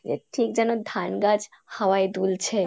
ঠিক যেন ধান গাছ হাওয়ায় দুলছে।